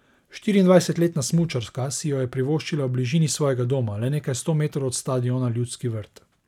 Štiriindvajsetletna smučarka si jo je privoščila v bližini svojega doma, le nekaj sto metrov od stadiona Ljudski vrt.